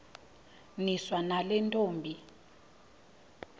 niswa nale ntombi